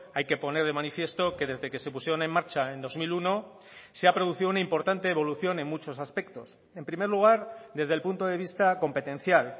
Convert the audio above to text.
hay que poner de manifiesto que desde que se pusieron en marcha en dos mil uno se ha producido una importante evolución en muchos aspectos en primer lugar desde el punto de vista competencial